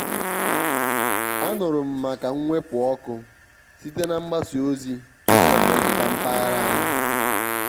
anụrụ m maka mwepu ọkụ site na mgbasa ozi tupu ọ metụta mpaghara anyị.